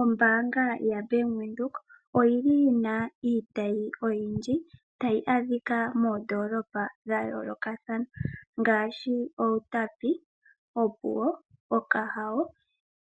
Ombaanga ya Venduka oyili yina iitayi oyindji tayi adhika moondoolopa dha yoolokathana ngaashi Outapi, Opuwo, Okahao